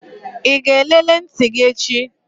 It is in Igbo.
Ị ga-elele ntị gị echi?